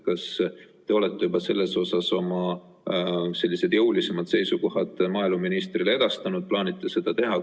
Kas te olete juba selle kohta oma sellised jõulisemad seisukohad maaeluministrile edastanud või kas te plaanite seda teha?